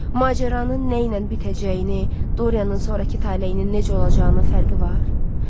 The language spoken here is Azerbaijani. Macəranın nə ilə bitəcəyini, Dorianın sonrakı taleyinin necə olacağının fərqi var?